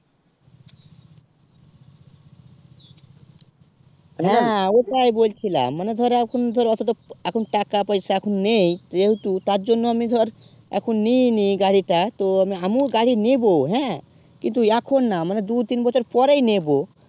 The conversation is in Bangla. হেঁ ওটাই বল ছিলাম মানে ধর এখন ধর ওত্তো তো এখন টাকা পয়সা এখন নেই যেহেতু তার জন্য আমি ধর এখন নিয়ে নি গাড়ি তা তো আমু ও গাড়ি নিবো হেঁ কিন্তু এখন না দুই তিন বছর পরেই নেবো